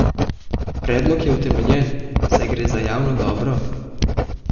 Predlog je utemeljen, saj gre za javno dobro!